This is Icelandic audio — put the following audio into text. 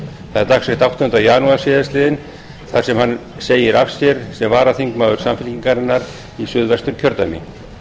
það er dagsett áttundi janúar síðastliðnum þar sem hann segir af sér sem varaþingmaður samfylkingarinnar í suðvesturkjördæmi